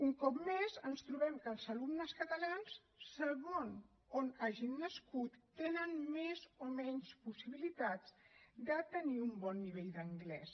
un cop més ens trobem que els alumnes catalans segons on hagin nascut tenen més o menys possibilitats de tenir un bon nivell d’anglès